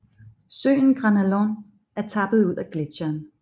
Søen Granalón er tappet ud af gletsjeren